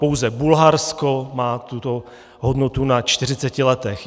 Pouze Bulharsko má tuto hodnotu na 40 letech.